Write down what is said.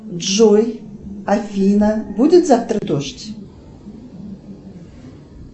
джой афина будет завтра дождь